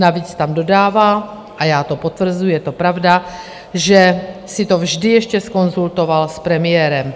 Navíc tam dodává, a já to potvrzuji, je to pravda, že si to vždy ještě zkonzultoval s premiérem.